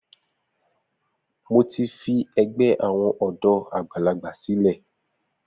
Mo ti fi ẹgbẹ́ àwọn ọ̀dọ́ àgbàlagbà sílẹ̀.